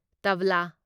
ꯇꯥꯕ꯭ꯂꯥ